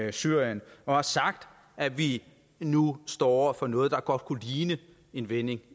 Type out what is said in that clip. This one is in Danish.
i syrien har sagt at vi nu står over for noget der godt kunne ligne en vending